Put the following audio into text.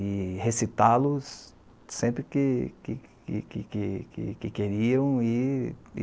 e recitá-los sempre que que que que que queriam. E e